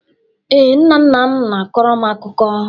Ee, nna nna m na-akọrọ m akụkọ.